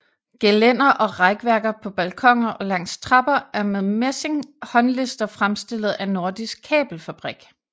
Gelænder og rækværker på balkoner og langs trapper er med messing håndlister fremstillet af Nordisk Kabelfabrik